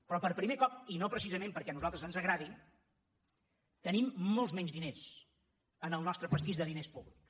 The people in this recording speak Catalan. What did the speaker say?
però per primer cop i no precisament perquè a nosaltres ens agradi tenim molts menys diners en el nostre pastís de diners públics